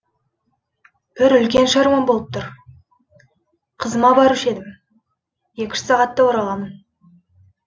бір үлкен шаруам болып тұр қызыма барушы едім екі үш сағатта ораламын